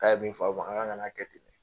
K'a ye min fɔ aw man, an ka na a kɛ ten.